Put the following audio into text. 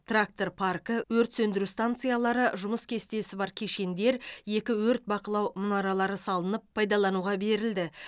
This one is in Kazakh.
трактор паркі өрт сөндіру станциялары жұмыс кестесі бар кешендер екі өрт бақылау мұнаралары салынып пайдалануға берілді